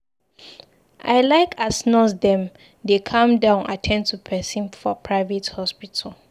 I like as nurse dem dey calm down at ten d to pesin for private hospital.